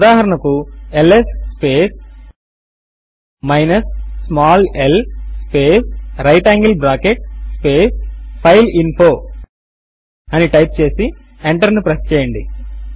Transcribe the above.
ఉదాహరణకు ls space minus small l space right angle bracket space file info అని ను type చేసి ఎంటర్ ను ప్రెస్ చేయండి